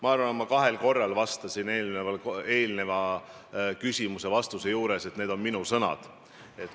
Ma arvan, et ma kahel korral ütlesin eelmisele küsimusele vastates, et need on minu sõnad.